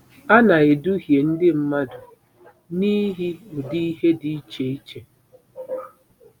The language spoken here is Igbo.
A na-eduhie ndị mmadụ n'ihi ụdị ihe dị iche iche.